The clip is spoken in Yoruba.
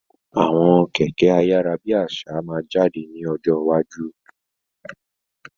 Àwọn Kẹ̀kẹ́ ayárábiàsà máa jáde ní ọjọ́ iwájú.